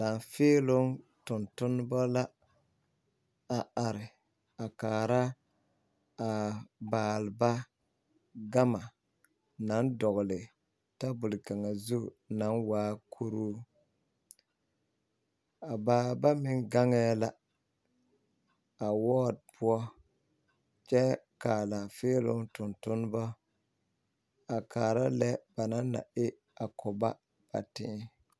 Laafeeloo tontonneba la ba a are a kaara a baaleba gama naŋ dogle tabol kaŋa zu naŋ waa kuroo a baaleba meŋ gaŋɛɛ la a wɔɔre poɔ kyɛ ka a laafeeloo tontonneba a kaara lɛ ba naŋ na e a ko ba a tee.